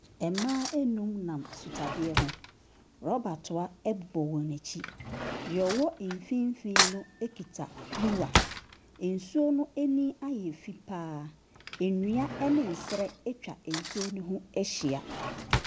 Mmaa nnum nam sutadeɛ ho. Rɔba toa bɔ wɔn akyi. Nea ɔwɔ mfimfin no kita kuruwa. Nsuo no ani ayɛ fi pa ara. Nnua ne nserɛ atwa nsuo no ho ahyia.